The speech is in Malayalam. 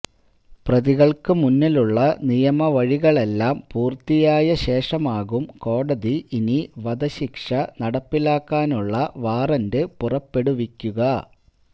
പ്രതികള്ക്ക് മുന്നിലുള്ള നിയമവഴികളെല്ലാം പൂര്ത്തിയായ ശേഷമാകും കോടതി ഇനി വധശിക്ഷ നടപ്പിലാക്കാനുള്ള വാറന്റ് പുറപ്പെടുവിക്കുക